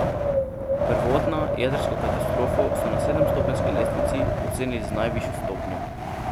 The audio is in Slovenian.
Prvotna jedrsko katastrofo so na sedemstopenjski lestvici ocenili z najvišjo stopnjo.